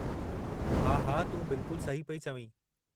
हा हा, तूं बिलकुल सही पई चवीं।